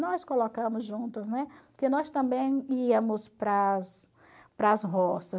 Nós colocamos juntas, né, porque nós também íamos para as para as roças.